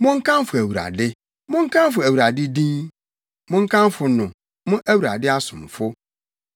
Monkamfo Awurade. Monkamfo Awurade din; monkamfo no, mo Awurade asomfo,